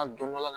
A dɔn baga